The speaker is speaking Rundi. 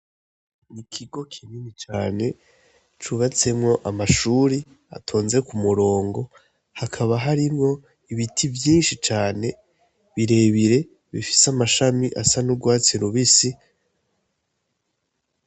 N'ikigo kinini cane cubatsemwo amashure atonze ku murongo, hakaba harimwo ibiti vyinshi cane birebire bifise n'amashami asa n'urwatsi rubisi.